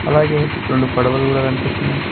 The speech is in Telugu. అలాగే రెండు పడవలు కూడా కనిపిస్తున్నాయ్.